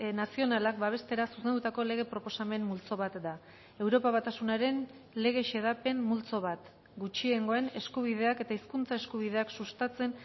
nazionalak babestera zuzendutako lege proposamen multzo bat da europa batasunaren lege xedapen multzo bat gutxiengoen eskubideak eta hizkuntza eskubideak sustatzen